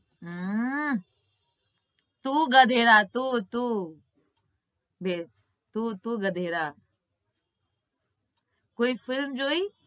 હમ તું ગધેડા તું તું તું તું ગધેડા કોઈ film જોઈ